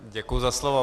Děkuji za slovo.